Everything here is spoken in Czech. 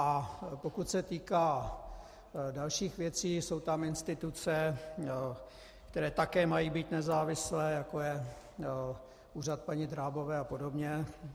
A pokud se týká dalších věcí, jsou tam instituce, které také mají být nezávislé, jako je úřad paní Drábové a podobně.